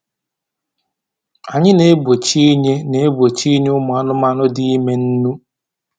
Anyị na-egbochi inye na-egbochi inye ụmụ anụmanụ dị ime nnu